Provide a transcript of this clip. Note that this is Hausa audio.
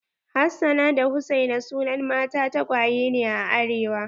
Hassana da hussaina sunan mata tagwaye ne a arewa.